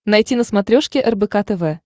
найти на смотрешке рбк тв